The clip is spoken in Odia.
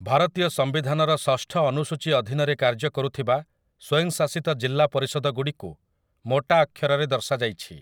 ଭାରତୀୟ ସମ୍ବିଧାନର ଷଷ୍ଠ ଅନୁସୂଚୀ ଅଧୀନରେ କାର୍ଯ୍ୟ କରୁଥିବା ସ୍ୱୟଂଶାସିତ ଜିଲ୍ଲା ପରିଷଦଗୁଡ଼ିକୁ ମୋଟା ଅକ୍ଷରରେ ଦର୍ଶାଯାଇଛି ।